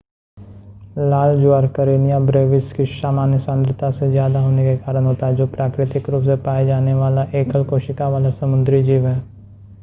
लाल ज्वार Karenia brevis की सामान्य सांद्रता से ज़्यादा होने के कारण होता है जो प्राकृतिक रूप से पाए जाने वाला एकल-कोशिका वाला समुद्री जीव है